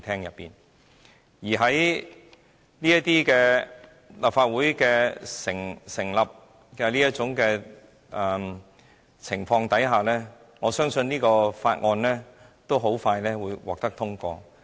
在立法會這種組成情況下，我相信《條例草案》很快便會獲得通過。